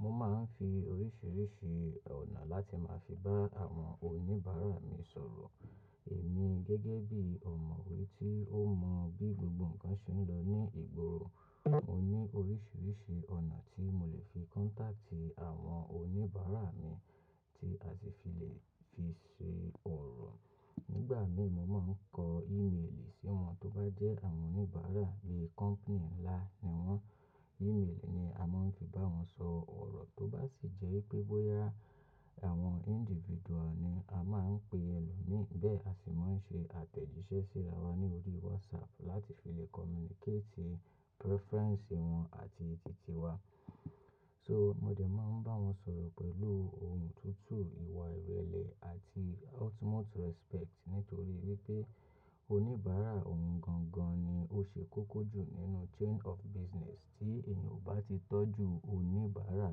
Mo máa ń fi oríṣiríṣi ọ̀nà láti máa fi bá àwọn oníbàárà mi sọ̀rọ̀. Èmi gẹ́gẹ́ bí ọ̀mọ̀wé tí ó mọ bí gbogbo ǹkan ṣe ń lọ ní ìgboro, mo ní oríṣiríṣi ọ̀nà tí mo lè fi contact àwọn oníbàárà mi tí a sì fi lè fi ṣe ọ̀rọ̀. Nígbà mìíràn, mo máa ń kọ email sí wọn. Tó bá jẹ́ àwọn oníbàárà bí company ńlá ni wọ́n, email ni a máa ń fi bá wọn sọ ọ̀rọ̀. Tó bá sì jẹ́ pé bóyá àwọn individual ni, a máa ń pe ẹlòmíràn, bẹ́ẹ̀ a sì máa ń ṣe àtẹ̀jíṣẹ́ síra wa ní orí WhatsApp láti fi lè communicate preference wọn àti tìtí wa. So mo dẹ̀ máa ń bá wọn sọ̀rọ̀ pẹ̀lú ohùn tutu, ìwà ìrẹ̀lẹ̀ àti ultimate respect nítorí wípé oníbàárà ohun gan gan ni. Ó ṣe kókó jù nínú chain of business tí èèyàn ò bá ti tọ́jú oníbàárà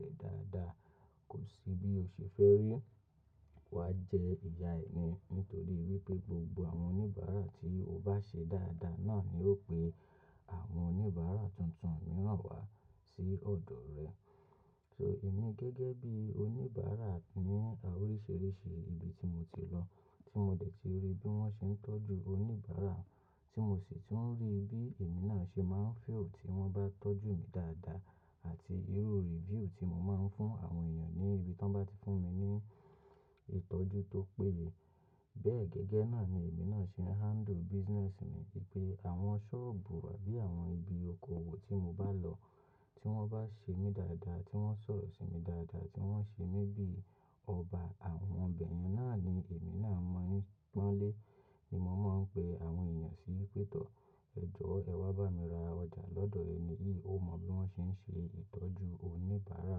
rẹ̀ dáadáa, kò sí bí o ṣe fẹ́ rí. Wa jẹ ìyá ni nítorí wípé gbogbo àwọn oníbàárà tí o bá ṣe dáadáa náà ni ó pe àwọn oníbàárà tuntun mìíràn wá sí ọ̀dọ̀ rẹ. So èmi gẹ́gẹ́ bí oníbàárà ní oríṣiríṣi ibi tí mo ti lọ, tí mo dẹ̀ ti rí bí wọ́n ṣe ń tọ́jú oníbàárà, tí mo sì ti ń rí bí èmi náà ṣe máa ń feel tí wọ́n bá tọ́jú mi dáadáa àti irú review tí mo máa ń fún àwọn èèyàn ní ibi tí wọ́n bá ti fún mi ní ìtọ́jú tó péye. Bẹ́ẹ̀ gẹ́gẹ́ náà ni èmi náà ṣe handle business mi. Pẹ́ àwọn sọ́ọ̀bù àbí àwọn ibi okoòwò tí mo bá lọ, tí wọ́n bá ṣe mí dáadáa, tí wọ́n sọ̀rọ̀ sí mi dáadáa, tí wọ́n ṣe mí bí ọba, àwọn bẹ̀yẹn náà ni èmi náà mọ́ń pọ́nlé ni mo máa ń pe àwọn èèyàn sí pẹ̀tọ́. "Ẹ̀jọ̀ ẹ wá bá mi ra ọjà lọ́dọ̀ ẹni yìí, ó mọ bí wọ́n ṣe ń ṣe ìtọ́jú oníbàárà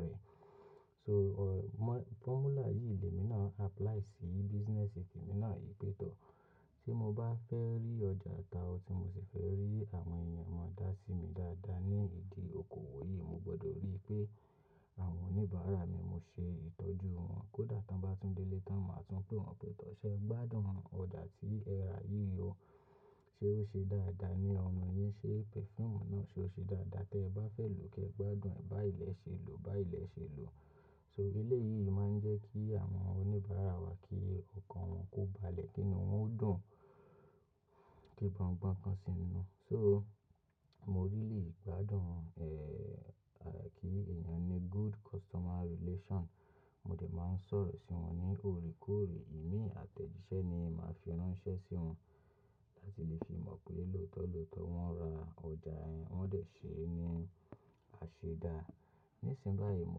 rẹ̀." So formula yìí ni èmi náà apply sí business te mi náà pẹ̀tọ́. Tí mo bá fẹ́ rí ọjà ta ọ tí mo sì fẹ́ rí àwọn èèyàn mọ dá sí mi dáadáa ní ìdí okoòwò yìí, mo gbọdọ̀ rí pé àwọn oníbàárà mi, mo ṣe ìtọ́jú wọ́n. Kódà tí wọ́n bá tún délé tán, màá tún pè wọ́n pẹ̀tọ́ ṣẹ́, "Gbádùn ọjà tí ẹ ra yìí o. Ṣé ó ṣe dáadáa ní ọ̀run yín? Ṣé perfume náà ṣe ó ṣe dáadáa? Tẹ bá fẹ́ lòó kẹ gbádùn ẹ̀. Báyi lẹ̀ ṣe lò, bá ìlẹ̀ ṣe lò." So elé yìí máa ń jẹ́ kí àwọn oníbàárà wa kí ọkàn wọn kó balẹ̀ kín-in. Wọn ó dùn kí wọn gbọ́n ǹkan sì ń nu. So mo really gbádùn, eh, kí èèyàn ní good customer relation. Mo dẹ̀ máa ń sọ̀rọ̀ sí wọn ní orekore. Ìmí àtẹ̀jíṣẹ́ ni màá fi ránṣẹ́ sí wọn láti lè fi mọ̀ pé lóòótọ́ lóòótọ́ wọ́n ra ọjà ẹ. Wọn dẹ̀ ṣe é ní àṣẹ dá. Nísìnyí báyìí, mo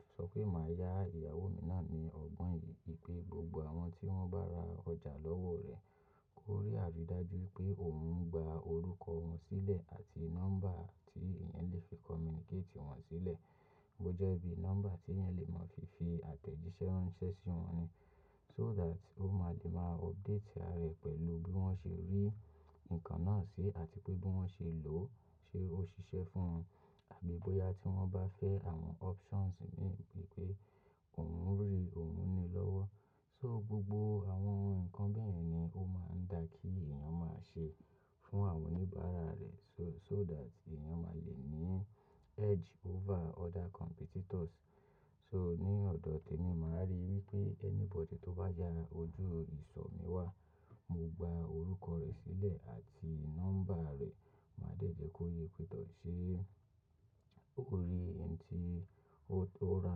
ti sọ pé màá yá ìyàwó mi náà ní ọgbọ́n yìí pé gbogbo àwọn tí wọ́n bá ra ọjà lọ́wọ́ rẹ̀, kó rí àrídájú wípé òun ń gba orúkọ wọn sílẹ̀ àti nọ́mbà tí èèyàn lè fi communicate wọ́n sílẹ̀. Bó jẹ́ bí nọ́mbà tí èèyàn lè mọ̀ fi fi àtẹ̀jíṣẹ́ ránṣẹ́ sí wọn ni. So that ó máa lè máa update ara rẹ̀ pẹ̀lú bí wọ́n ṣe rí ǹkan náà sí àti pé bí wọ́n ṣe lò ó. Ṣé ó ṣiṣẹ́ fún wọn? Àbí bóyá tí wọ́n bá fẹ́ àwọn options mìíràn wípé òun ń rí òun ni lọ́wọ́. So gbogbo àwọn ǹkan bẹ́e yẹ̀n ni ó máa ń dà kí èèyàn máa ṣe fún àwọn oníbàárà rẹ̀. So, so that èèyàn máa lè ní edge over other competitors. So ní ọ̀dọ̀ tẹmi màá rí wípé anybody tó bá ya ojú ìsọ̀ mi wà, mo gba orúkọ rẹ̀ sílẹ̀ àti nọ́mbà rẹ̀. Màá dẹ́jẹ́ kó yé pẹ̀tọ́ ṣé ó rí ohun tí ó ra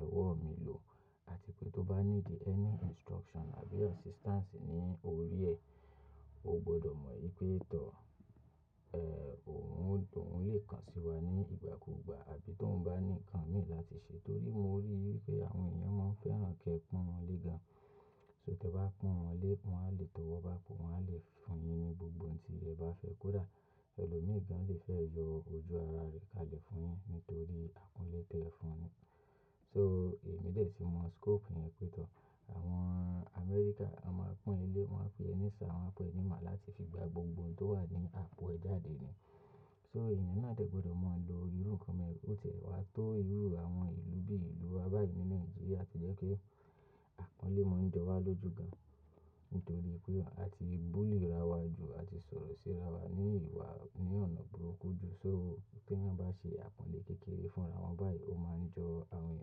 lọ́wọ́ mi lò àti pé tó bá ní need any instruction àbí assistance ní orí ẹ, o gbọdọ̀ mọ̀ wípé tọ́, eh, òun ó dùn, ó lè kàn sí wa ní ìgbà kúùgbà. Àbí tó ń bá ní ǹkan mìíràn láti ṣe torí mo rí wípé àwọn èèyàn máa ń fẹ́ràn kí ẹ pan wọn lé gan. So tí ẹ bá pan wọn lé, wọ́n á le tọ̀ wọ́ báa po, wọ́n á le fún yín ní gbogbo ohun tí ẹ bá fẹ́. Kódà ẹlòmíràn lè fẹ́ yọ ojú ara rẹ̀ kalẹ̀ fún yín nítorí àpanlé tí ẹ fún un. So èmi dẹ̀ ti mọ scope yẹn pẹ̀tọ́. Àwọn Amẹ́ríkà, wọ́n máa ń pon e lé, wọ́n máa ń pe ẹni ṣir àwọn a pe ẹni má láti fi gba gbogbo ohun tó wà ní apo ẹ jáde ni. So èèyàn náà dẹ̀ gbọdọ̀ mọ̀ lo irú ǹkan tí ó tẹ̀ wá tó irú àwọn ìlú bí ìlú wa báyìí ní Nàìjíríà tí jẹ́ pé àpọ́nlé máa ń jọ wá lójú gan, nítorí pé a ti bully ra wa jù, a ti sọ̀rọ̀ síra wa ní ìwà ní ọ̀nà burúkú jù. So pé ẹ̀yàn bá ṣe àpọ́nlé kékeré fúnra wọn báyìí, ó máa ń jọ àwọn èèyàn.